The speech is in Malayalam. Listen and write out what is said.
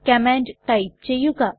കമാൻഡ് ടൈപ്പ് ചെയ്യുക